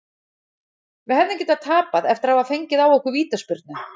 Við hefðum getað tapað eftir að hafa fengið á okkur vítaspyrnu.